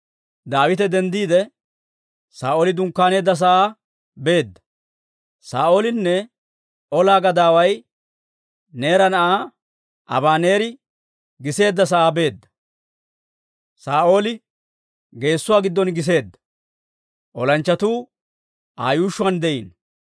Daawite denddiide, Saa'ooli dunkkaaneedda sa'aa beedda; Saa'oolinne ola gadaaway Neera na'aa Abaneeri giseedda sa'aa be'eedda. Saa'ooli geessuwaa giddon giseedda; olanchchatuu Aa yuushshuwaan de'iino.